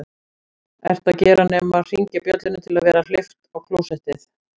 ert að gera nema hringja bjöllunni til að vera hleypt á klósett